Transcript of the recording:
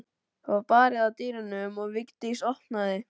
Það var barið að dyrum og Vigdís opnaði.